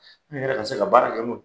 An yɛrɛ ka se ka baara kɛ n'o ye.